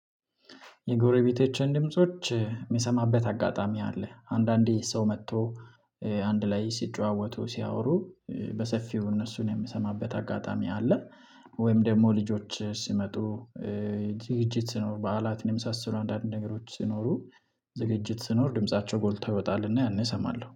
የጎረቤቶችን ድምጾች የሚሰማበት አጋጣሚ አለ አንዳንዴ ሰው መጥቶ አንድ ላይ ሲጨዋወቱ ሲያወሩ በሰፊው እነሱን የምሰማበት አጋጣሚ አለ። ወይም ደግሞ ልጆች ሲመጡ ዝግጅት ሲኖር በዓላትንም የመሳሰሉ አንዳንድ ነገሮች ሲኖሩ ዝግጅት ሲኖር ድምፃቸው ጎልቶ ይወጣልና ያኔ እሰማለሁ